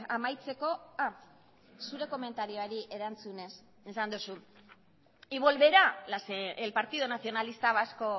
amaitzeko zure komentarioari erantzunez esan duzu y volverá el partido nacionalista vasco